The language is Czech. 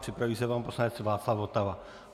Připraví se pan poslanec Václav Votava.